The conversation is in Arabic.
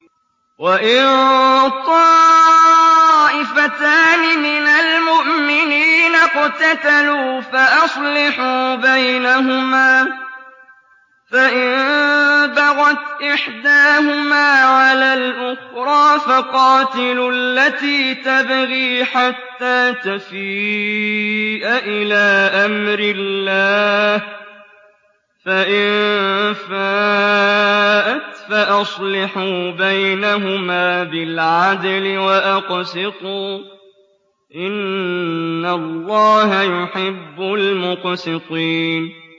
وَإِن طَائِفَتَانِ مِنَ الْمُؤْمِنِينَ اقْتَتَلُوا فَأَصْلِحُوا بَيْنَهُمَا ۖ فَإِن بَغَتْ إِحْدَاهُمَا عَلَى الْأُخْرَىٰ فَقَاتِلُوا الَّتِي تَبْغِي حَتَّىٰ تَفِيءَ إِلَىٰ أَمْرِ اللَّهِ ۚ فَإِن فَاءَتْ فَأَصْلِحُوا بَيْنَهُمَا بِالْعَدْلِ وَأَقْسِطُوا ۖ إِنَّ اللَّهَ يُحِبُّ الْمُقْسِطِينَ